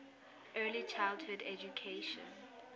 early childhood education